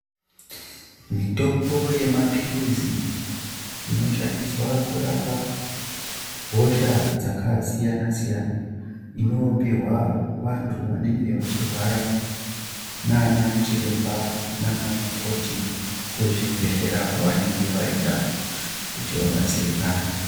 Mitombo yemaphirizi inoshandiswa kurapa hosha dzakasiyana-siyana. Inopuhwa vantu vanenge vachirwara nanachiremba nanamukoti kuzvibhedhlera kwavanenge vaenda kuti vabatsirikane.